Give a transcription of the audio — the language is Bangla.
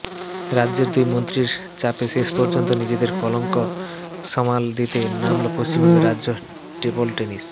রাজ্যের দুই মন্ত্রীর চাপে শেষ পর্যন্ত নিজেদের কলঙ্ক সামাল দিতে নামল পশ্চিমবঙ্গ রাজ্য টেবল টেনিস